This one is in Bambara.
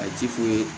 A ti foyi